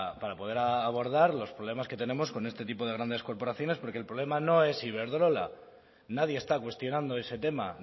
para poder abordar los problemas que tenemos con este tipo de grandes corporaciones porque el problema no es iberdrola nadie está cuestionando ese tema